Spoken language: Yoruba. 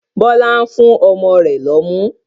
Bọlá ń fún ọmọ rẹ lọ́mú